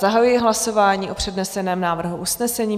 Zahajuji hlasování o předneseném návrhu usnesení.